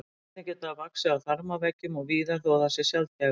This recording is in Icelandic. Einnig getur það vaxið í þarmaveggjum og víðar þó að það sé sjaldgæfara.